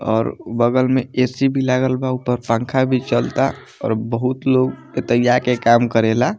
और बगल में ए.सी. भी लागल बा ऊपर पंखा भी चलता और बहुत लोग एते आ के काम करेला।